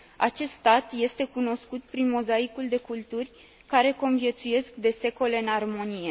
Acest stat este cunoscut prin mozaicul de culturi, care conviețuiesc de secole în armonie.